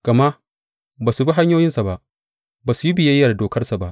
Gama ba su bi hanyoyinsa ba; ba su yi biyayya da dokarsa ba.